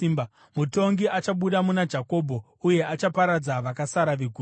Mutongi achabuda muna Jakobho uye achaparadza vakasara veguta.”